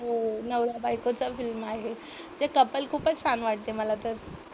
हो, नवरा बायकोचा फिल्म आहे. ते कपल खूपच छान वाटते मला तर.